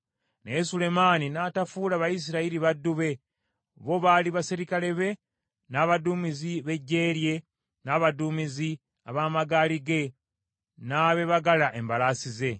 Naye Sulemaani n’atafuula Bayisirayiri baddu be; bo baali baserikale be, n’abaduumizi b’eggye lye, n’abaduumizi ab’amagaali ge n’abeebagala embalaasi ze.